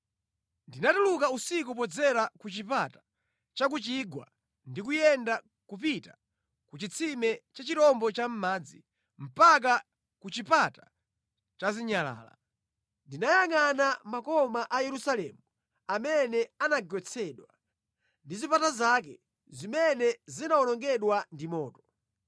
Ndinatuluka usiku podzera ku Chipata cha ku Chigwa ndi kuyenda kupita ku Chitsime cha Chirombo Chamʼmadzi mpaka ku Chipata cha Zinyalala. Ndinayangʼana makoma a Yerusalemu, amene anagwetsedwa, ndi zipata zake, zimene zinawonongedwa ndi moto.